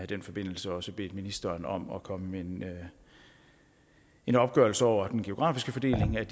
den forbindelse også bedt ministeren om at komme med en opgørelse over den geografiske fordeling af